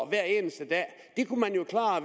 hver eneste dag